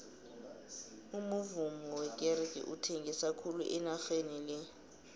umuvummo wekerege uthengisa khulu enageni le